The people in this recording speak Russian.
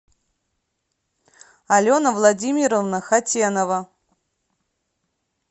алена владимировна хатенова